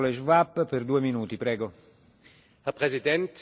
Herr Präsident, Frau Kommissarin, liebe Kolleginnen und Kollegen!